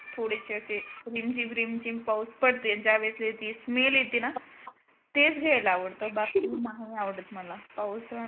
थोडेसे असे रिमझिम रिमझिम पाऊस पडते ज्यावेळसे जी smell येते ना तेच घ्यायला आवडते बाकी मग मला नाही आवडत मला पाऊस